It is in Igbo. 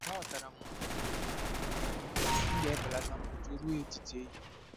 Aghọtara m na ụtụtụ dị mkpa maka gị; m ga-ebelata mkpọtụ ruo etiti ehihie.